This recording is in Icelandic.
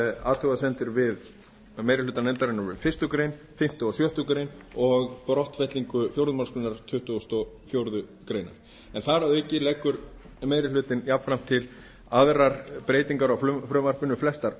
athugasemdir meiri hluta nefndarinnar við fyrstu grein fimmta og sjöttu greinar og brottfellingu fjórðu málsgrein tuttugustu og fjórðu grein en þar að auki leggur meiri hlutinn jafnframt til aðrar breytingar á frumvarpinu flestar